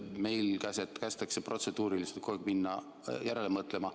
Meil kästakse protseduuriliselt kogu aeg minna järele mõtlema.